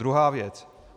Druhá věc.